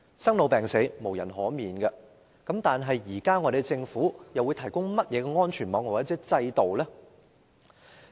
生老病死無人可免，但政府現時會提供甚麼安全網或制度？